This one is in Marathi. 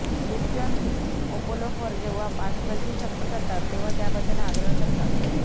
ख्रिश्चन अपोलोफर जेव्हा पास्कलची सक्ती करतात तेव्हा त्याबद्दल आग्रह करतात